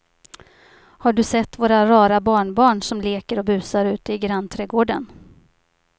Har du sett våra rara barnbarn som leker och busar ute i grannträdgården!